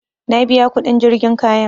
Na biya kuɗin jirgin kayan